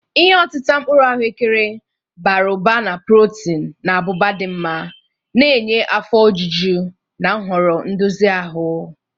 Ihe otita mkpuru ahụekere, bara ụba na protin na abụba dị mma, na-enye afọ ojuju na nhoro ndozi ahụ.